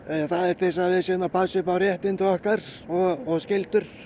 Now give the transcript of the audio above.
það er til þess að við séum að passa upp á réttindi okkar og skyldur